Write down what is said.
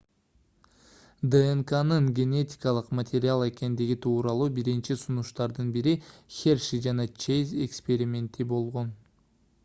днкнын генетикалык материал экендиги тууралуу биринчи сунуштардын бири херши жана чейз эксперименти болгон